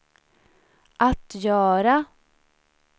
att göra